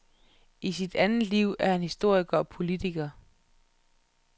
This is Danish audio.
I sit andet liv er han historiker og politiker.